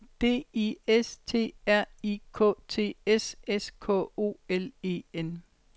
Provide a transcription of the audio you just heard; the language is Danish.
D I S T R I K T S S K O L E N